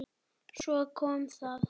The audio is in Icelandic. Svo kom það.